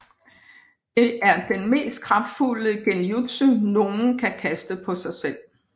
Det er den mest kraftfulde Genjutsu nogen kan kaste på sig selv